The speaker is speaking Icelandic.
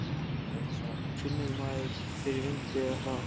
Finnur maður fyrir vindi eða hraða?